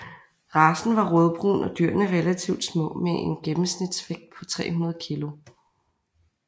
Racen var rødbrun og dyrene relativt små med en gennemsnitsvægt på 300 kg